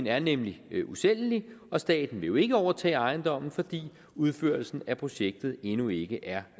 er nemlig usælgelig og staten vil jo ikke overtage ejendommen fordi udførelsen af projektet endnu ikke er